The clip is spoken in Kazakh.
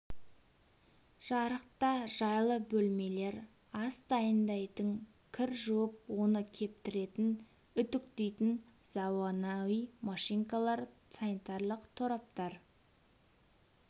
жарық та жайлы бөлмелер ас дайындайтын кір жуып оны кептіретін үтіктейтін заманауи машинкалар санитарлық тораптар